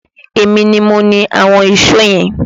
Èmi ni mo ni àwọn ìṣó yẹn